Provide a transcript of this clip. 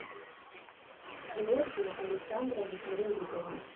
георгия александровича лебедева